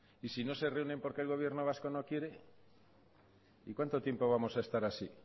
y si no se reúnen porque el gobierno vasco no quiere y cuánto tiempo vamos a estar así